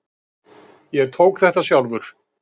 Ég tók þetta sjálfur.